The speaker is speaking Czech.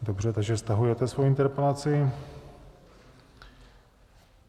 Dobře, takže stahujete svoji interpelaci.